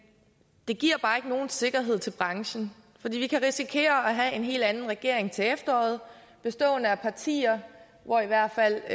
det giver bare ikke nogen sikkerhed til branchen vi kan risikere at have en helt anden regering til efteråret bestående af partier hvoraf i hvert fald